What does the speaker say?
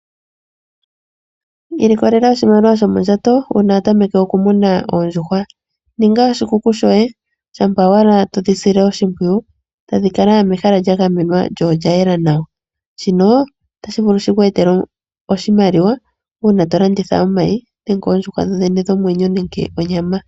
Ilikolela oshimaliwa sho mondjato uuna wa tameke oku muna oondjuhwa ninga oshikuku shoye shampa owala todhi sile oshimpwiyu tadhi kala mehala lya gamenwa lyo olya yela nawa shino otashi vulu shi kweetele oshimaliwa uuna to landitha omayi nenge oondjuhwa dho dhene dhomwenyo nenge onyama.